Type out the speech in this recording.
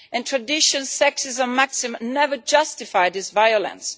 Traditional sexist maxims never justify this violence.